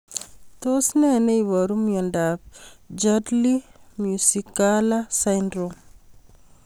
Tos nee neiparu miondop Chudley Mccullough syndrome?